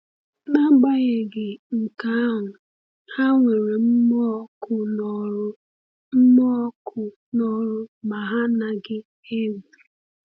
“N’agbanyeghị nke ahụ, ha nwere mmụọ ọkụ n’ọrụ mmụọ ọkụ n’ọrụ ma ha anaghị egwu.”